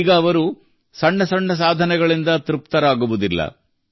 ಈಗ ಅವರು ಸಣ್ಣ ಸಣ್ಣ ಸಾಧನೆಗಳಿಂದ ತೃಪ್ತರಾಗುವುದಿಲ್ಲ